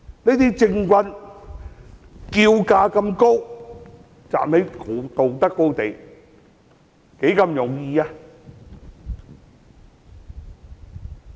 這些政棍叫價這麼高，站在道德高地，多麼容易！